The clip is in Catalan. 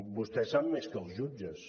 vostè sap més que els jutges